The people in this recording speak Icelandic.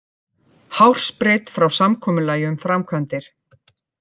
Hársbreidd frá samkomulagi um framkvæmdir